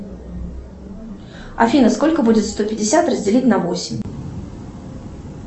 афина сколько будет сто пятьдесят разделить на восемь